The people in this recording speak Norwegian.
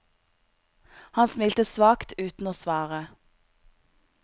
Han smilte svakt uten å svare.